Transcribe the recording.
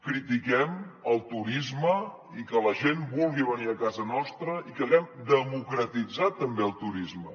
critiquem el turisme i que la gent vulgui venir a casa nostra i que haguem democratitzat també el turisme